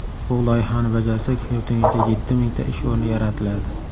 Bu loyihani bajarsak, yurtingizda yetti mingta ish o‘rni yaratiladi.